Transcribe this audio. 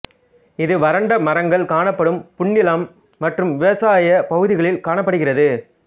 இது வறண்ட மரங்கள் காணப்படும் புன்னிலம் மற்றும் விவசாய பகுதிகளில் காணப்படுகிறது